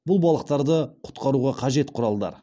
бұл балықтарды құтқаруға қажет құралдар